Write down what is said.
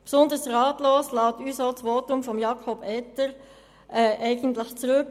Besonders ratlos lässt uns das Votum von Jakob Etter zurück.